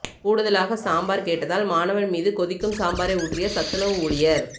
கூடுதலாக சாம்பார் கேட்டதால் மாணவன் மீது கொதிக்கும் சாம்பாரை ஊற்றிய சத்துணவு ஊழியர்